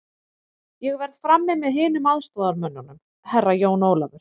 Ég verð frammi með hinum aðstoðarmönnunum, Herra Jón Ólafur.